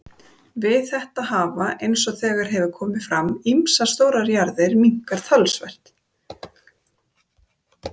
Við þetta hafa, eins og þegar hefur komið fram, ýmsar stórar jarðir minnkað talsvert.